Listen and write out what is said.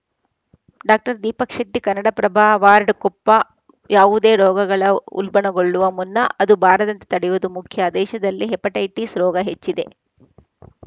ಡಾದೀಪಕ್‌ Shetty Kannadaprabha ward Koppa ಯಾವುದೇ ರೋಗಗಳು ಉಲ್ಬಣಗೊಳ್ಳುವ ಮುನ್ನ ಅದು ಬಾರದಂತೆ ತಡೆಯುವುದು ಮುಖ್ಯ ದೇಶದಲ್ಲಿ ಹೆಪಟೈಟಿಸ್‌ ರೋಗ ಹೆಚ್ಚಿದೆ